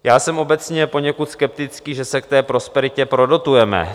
Já jsem obecně poněkud skeptický, že se k té prosperitě prodotujeme.